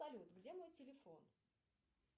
салют где мой телефон